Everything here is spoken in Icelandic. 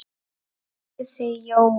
spurði Jói.